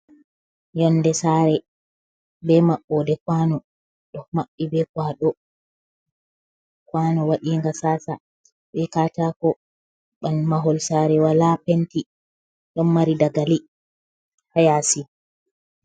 Yonde sare be maɓɓode kwano ɗo maɓɓi be kwaɗo, kwano waɗiga sasa be katako ɓan mahol sare wala penti ɗon mari dagali ha yasi.